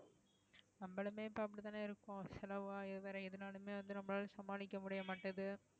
நம்பளுமே இப்ப அப்படித்தானே இருக்கோம் செலவாகி வேற எதுனாலுமே வந்து நம்மளால சமாளிக்க முடிய மாட்டேங்குது